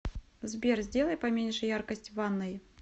сбер сделай поменьше яркость в ванной